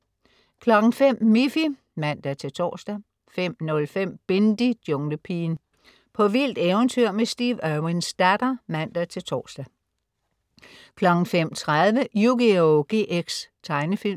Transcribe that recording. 05.00 Miffy (man-tors) 05.05 Bindi: Junglepigen. På vildt eventyr med Steve Irwins datter (man-tors) 05.30 Yugioh GX. Tegnefilm